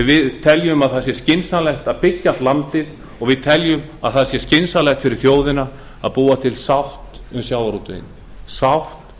við teljum skynsamlegt að byggja allt landið og við teljum skynsamlegt fyrir þjóðina að búa til sátt um sjávarútveginn sátt